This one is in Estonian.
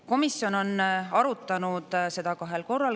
Komisjon on arutanud seda kahel korral.